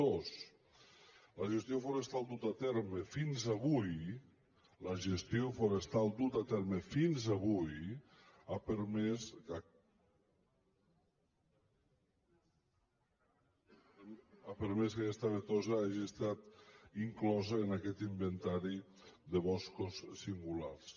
dos la gestió forestal duta a terme fins avui la gestió forestal duta a terme fins avui ha permès que aquesta avetosa hagi estat inclosa en aquest inventari de boscos singulars